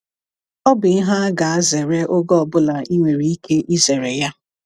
“Ọ bụ ihe a ga-azere oge ọ bụla i nwere ike izere ya.”